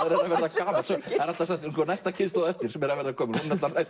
verða gamall það er alltaf sagt að næsta kynslóð á eftir sem er að verða gömul að